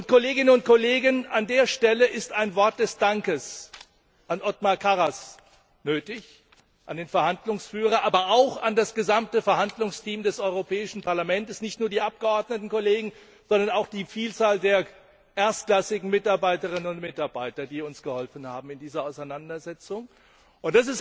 Kolleginnen und Kollegen, an dieser Stelle ist ein Wort des Dankes an Othmar Karas, den Verhandlungsführer, nötig, aber auch an das gesamte Verhandlungsteam des Europäischen Parlaments, nicht nur an die Abgeordnetenkollegen, sondern auch an die Vielzahl der erstklassigen Mitarbeiterinnen und Mitarbeiter, die uns in dieser Auseinandersetzung geholfen haben.